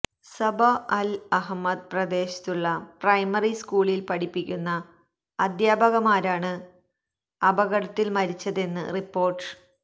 Sabah Al Ahmad പ്രദേശത്തുള്ള primary സ്കൂളില് പഠിപ്പിക്കുന്ന അധ്യാപികമാരാണ് അപകടത്തില് മരിച്ചതെന്നാണ് റിപ്പോര്ട്ട്